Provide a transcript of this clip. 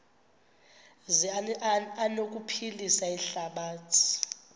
zi anokuphilisa ihlabathi